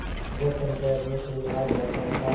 जब पंचायत में कोई आ जाता था